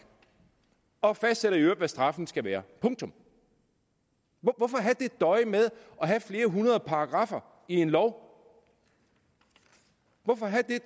og fastsætter i øvrigt hvad straffen skal være punktum hvorfor døje med at have flere hundrede paragraffer i en lov hvorfor